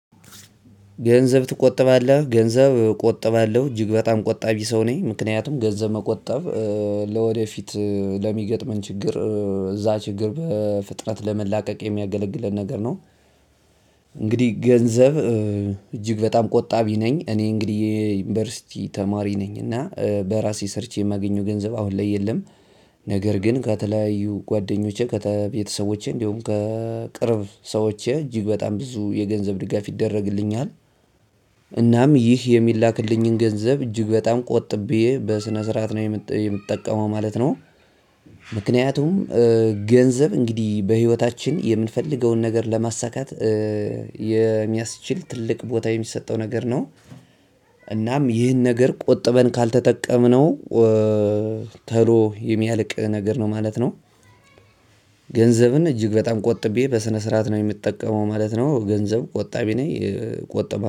ገንዘብ ትቆጠባለህ ገንዘብ እቆጥባለሁ እጅግ በጣም ቆጣቢ ሰው ነኝ ምክንያቱም ገንዘብ መቆጠብ ለወደፊት ለሚገጥመን ችግር እዛ ችግር በፍጥነት ለመላቀቅ የሚያገለግልን ነገር ነው። እንግዲህ ገንዘብ እጅግ በጣም ቆጣቢ ነኝ እኔ እንግዲህ የዩኒቨርሲቲ ተማሪ ነኝ እና በራሴ ሰርቼ የማገኘው ገንዘብ አሁን ላይ የለም። ነገር ግን ከተለያዩ ጓደኞቼ ከቤተሰቦቼ እንዲሁም ከቅርብ ሰዎቼ እጅግ በጣም ብዙ የገንዘብ ድጋፍ ይደረግልኛል። እናም ይህ የሚላክልኝን ገንዘብ እጅግ በጣም ቆጥቤ በስነ ስርዓት ነው የምትጠቀመው ማለት ነው። ምክንያቱም ገንዘብ እንግዲህ በህይወታችን የምንፈልገውን ነገር ለማሳካት የሚያስችል ትልቅ ቦታ የሚሰጠው ነገር ነው። እናም ይህን ነገር ቆጥበን ካልተጠቀምነው ቶሎ የሚያልቅ ነገር ነው ማለት ነው። ገንዘብን እጅግ በጣም ቆጥቤ በስነ ስርዓት ነው የምጠቀመው ማለት ነው ገንዘብ ቆጣቢ ነኝ እቆጥባለሁ